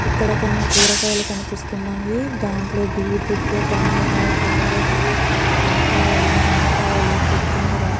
ఇక్కడ కొన్ని కూరగాయలు కనిపిస్తున్నాయి. దాట్లో బీట్రూట్ టమాటా క్యారెట్ వంకాయలు నిమ్మకాయలు కొత్తిమీర --